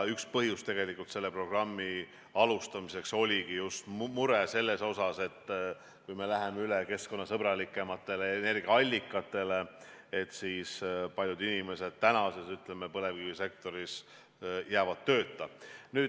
Üks põhjusi selle programmi alustamiseks oligi just mure selle pärast, et kui me läheme üle keskkonnasõbralikumatele energiaallikatele, siis paljud inimesed tänases põlevkivisektoris jäävad tööta.